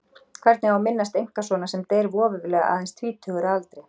Hvernig á að minnast einkasonar sem deyr voveiflega aðeins tvítugur að aldri?